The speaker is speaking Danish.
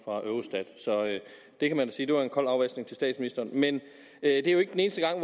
så det kan man sige var en kold afvaskning til statsministeren men det er jo ikke den eneste gang